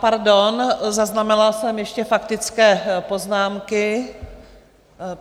Pardon, zaznamenala jsem ještě faktické poznámky.